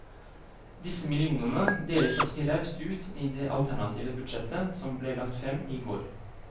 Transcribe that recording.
Disse millionene deler partiet raust ut i det alternative budsjettet som ble lagt frem i går.